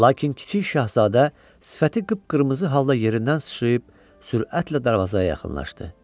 Lakin kiçik şahzadə sifəti qıpqırmızı halda yerindən sıçrayıb sürətlə darvazaya yaxınlaşdı.